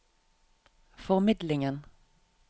formidlingen